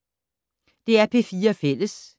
DR P4 Fælles